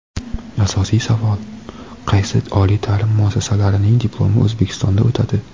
Asosiy savol: qaysi oliy ta’lim muassasalarining diplomi O‘zbekistonda o‘tadi?.